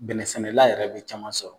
Bɛnɛ sɛnɛla yɛrɛ bɛ caman sɔrɔ.